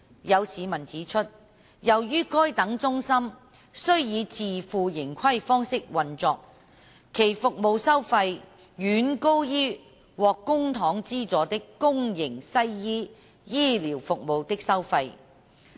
有市民指出，由於該等中心需以自負盈虧方式運作，其服務收費遠高於獲公帑資助的公營西醫醫療服務的收費。